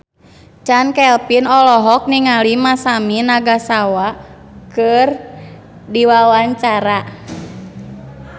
Chand Kelvin olohok ningali Masami Nagasawa keur diwawancara